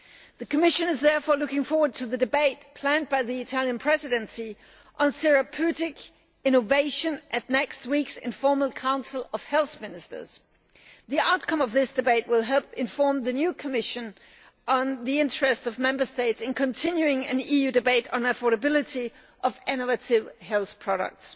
The Commission is therefore looking forward to the debate planned by the Italian Presidency on therapeutic innovation at next week's informal Council of Health Ministers. The outcome of this debate will help inform the new Commission about the interest of Member States in continuing an EU debate on the affordability of innovative health products.